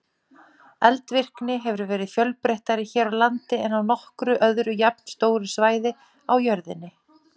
Eldvirkni hefur verið fjölbreyttari hér á landi en á nokkru öðru jafnstóru svæði á jörðinni.